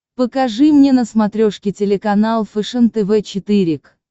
покажи мне на смотрешке телеканал фэшен тв четыре к